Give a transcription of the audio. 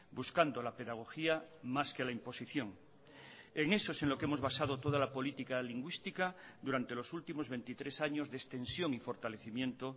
buscando la pedagogía más que la imposición en eso es en lo que hemos basado toda la política lingüística durante los últimos veintitrés años de extensión y fortalecimiento